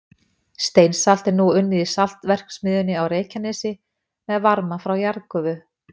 Steinsalt er nú unnið í saltverksmiðjunni á Reykjanesi með varma frá jarðgufu.